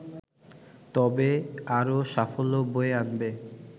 তবে আরও সাফল্য বয়ে আনবে